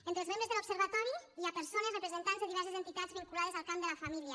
entre els membres de l’observatori hi ha persones representants de diverses entitats vinculades al camp de la família